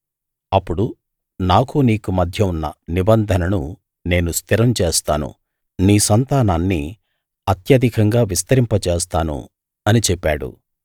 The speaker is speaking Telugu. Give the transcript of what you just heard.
అప్పుడు నాకూ నీకూ మధ్య ఉన్న నిబంధనను నేను స్థిరం చేస్తాను నీ సంతానాన్ని అత్యధికంగా విస్తరింపజేస్తాను అని చెప్పాడు